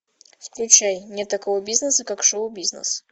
включай нет такого бизнеса как шоу бизнес